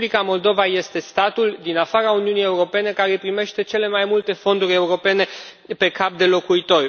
Republica Moldova este statul din afara Uniunii Europene care primește cele mai multe fonduri europene pe cap de locuitor.